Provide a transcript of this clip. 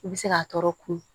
I bɛ se k'a tɔɔrɔ kun